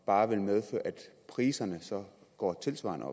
bare medføre at priserne går tilsvarende